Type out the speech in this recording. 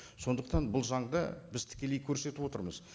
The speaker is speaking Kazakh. сондықтан бұл заңды біз тікелей көрсетіп отырмыз